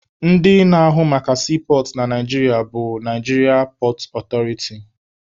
Ndị na-ahụ maka siipọọtụ na Naijiria pọọt ọtọriti.